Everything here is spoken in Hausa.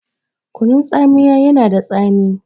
Kunun tsamiya yana da tsami